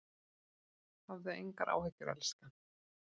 Hafðu engar áhyggjur elskan.